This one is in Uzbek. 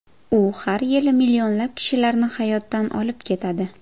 U har yili millionlab kishilarni hayotdan olib ketadi.